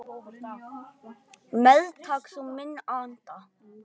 Meðtak þú minn anda.